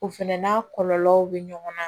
O fɛnɛ n'a kɔlɔlɔw bɛ ɲɔgɔn na